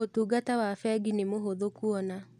ũtungata wa bengi nĩ mũhũthũ kuona.